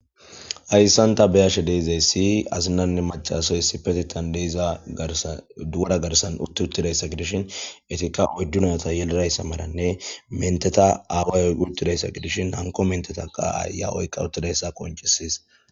Hayssan ta beyashe deizay siy azinanne macasoy sipetitan deiza garsa duuda garsan utti uttidayssa gidishin etikka oddunayata yelirayssa maranne menteta aawayoy uttidayssa gidishin nanko menteta qaa7aya oykka uttidayssa qonchisiis.